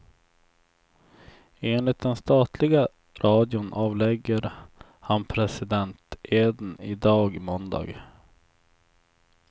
Enligt den statliga radion avlägger han presidenteden i dag, måndag.